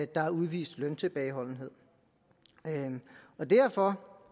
der er udvist løntilbageholdenhed derfor